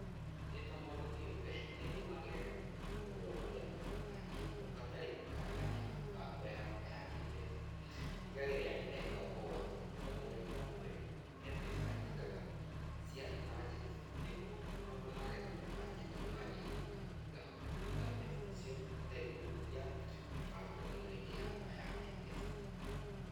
Ndĩ ta mũndũ kĩũmbe, nĩnũmagĩrĩra mahũthĩro marĩa matatanyĩtwo, hatarĩ kũhagarania mĩbango yakwa ya kĩmbeca. Ndigagĩrĩra nĩndeka ũũ atĩ, o mweri o mweri, he mbeca njigaga cia imanjencĩ nĩguo maũndũ marĩa matatanyĩtwo mangĩkĩka ngahota kũruta mbeca icio hatarĩ kũhutia mĩbango ĩno ĩngĩ yakwa ya kĩmbeca.